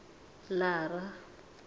lara